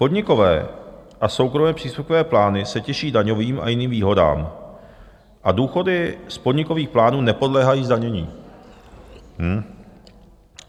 Podnikové a soukromé příspěvkové plány se těší daňovým a jiným výhodám a důchody z podnikových plánů nepodléhají zdanění.